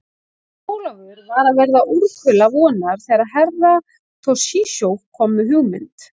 Jón Ólafur var að verða úrkula vonar þegar Herra Toshizo kom með hugmynd.